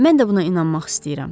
Mən də buna inanmaq istəyirəm.